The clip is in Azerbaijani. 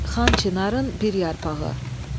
Xan Çinarın bir yarpağı.